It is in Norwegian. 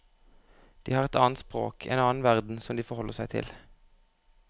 De har et annet språk, en annen verden som de forholder seg til.